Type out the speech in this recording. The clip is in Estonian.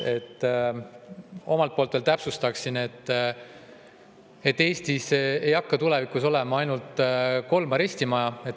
Omalt poolt täpsustan, et Eestis ei hakka tulevikus olema ainult kolm arestimaja.